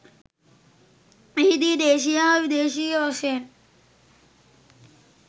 එහිදී දේශීය හා විදේශීය වශයෙන්